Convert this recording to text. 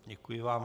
Děkuji vám.